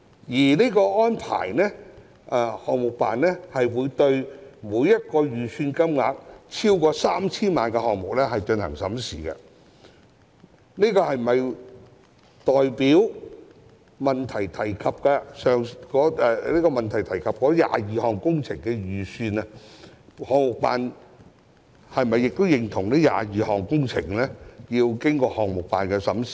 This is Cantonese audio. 由於項目辦會就每個預算金額超過 3,000 萬元的項目進行審視，項目辦是否認同以主體質詢提及的22項工程合約而言，其工程預算均須經項目辦審視？